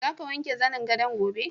Za ka wanke zanin gadon gobe?